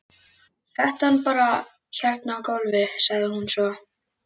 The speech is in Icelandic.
Settu hann bara hérna á gólfið, sagði hún svo.